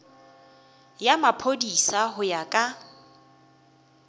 ya maphodisa go ya ka